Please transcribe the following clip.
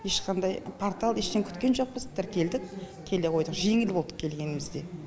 ешқандай портал ештеңе күткен жоқпыз тіркелдік келе қойдық жеңіл болды келгенімізде